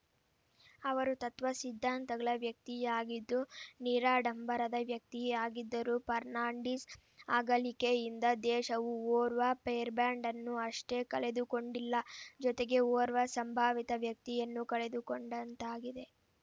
ಅವರು ತತ್ವಸಿದ್ಧಾಂತಗಳ ವ್ಯಕ್ತಿಯಾಗಿದ್ದು ನಿರಾಡಂಬರದ ವ್ಯಕ್ತಿಯಾಗಿದ್ದರು ಫರ್ನಾಂಡಿಸ್‌ ಅಗಲಿಕೆಯಿಂದ ದೇಶವು ಓರ್ವ ಪೆರ್‌ಬಾಂಡ್‌ ಅನ್ನು ಅಷ್ಟೇ ಕಳೆದುಕೊಂಡಿಲ್ಲ ಜೊತೆಗೆ ಓರ್ವ ಸಂಭಾವಿತ ವ್ಯಕ್ತಿಯನ್ನು ಕಳೆದುಕೊಂಡಂತಾಗಿದೆ